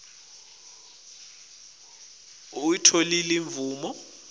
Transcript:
kute utfole imvume